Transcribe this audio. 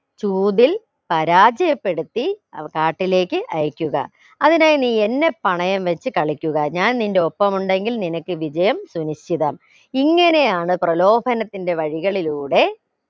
ചൂതിൽ പരാജയപ്പെടുത്തി അവ കാട്ടിലേക്ക് അയക്കുക അതിനായി നീ എന്നെ പണയം വെച്ച് കളിക്കുക ഞാൻ നിന്റെ ഒപ്പം ഉണ്ടെങ്കിൽ നിനക്ക് വിജയം സുനിശ്ചിതം ഇങ്ങനെയാണ് പ്രലോഭനത്തിന്റെ വഴികളിലൂടെ